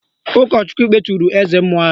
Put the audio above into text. Ụkọchukwu kpeturu eze mmụọ ahụ